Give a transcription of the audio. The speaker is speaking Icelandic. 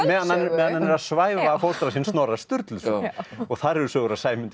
meðan hann meðan hann er að svæfa fóstra sinn Snorra Sturluson og þar eru sögur af Sæmundi